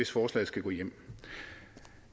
forslag skal gå igennem